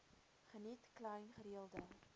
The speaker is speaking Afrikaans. geniet klein gereelde